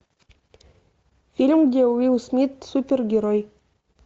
фильм где уилл смит супергерой